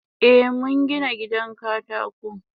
Eh mungina gidan katako.